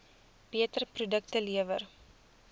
beter produkte lewer